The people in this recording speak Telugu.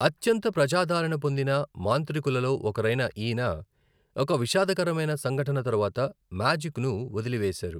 అత్యంత ప్రజాదరణ పొందిన మాంత్రికులలో ఒకరైన ఈయన ఒక విషాదకరమైన సంఘటన తరువాత మ్యాజిక్ను వదిలివేసారు.